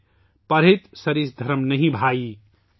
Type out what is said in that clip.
'परहित सरिस धरम नहीं भाई' پرہِت سَرِس دھرم نہیں بھائی